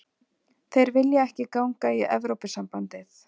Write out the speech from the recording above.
Þeir vilja ekki ganga í Evrópusambandið